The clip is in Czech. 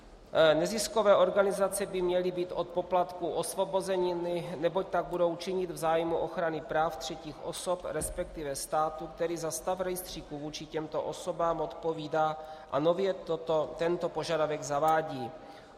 Neziskové organizace by měly být od poplatků osvobozeny, neboť tak budou činit v zájmu ochrany práv třetích osob, respektive státu, který za stav rejstříku vůči těmto osobám odpovídá a nově tento požadavek zavádí.